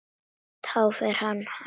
Þá fer hann sér hægar.